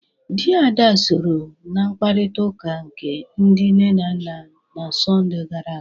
Di Ada sọrọ n'mkparita uka nke ndi nne na nna n'sonde gara aga.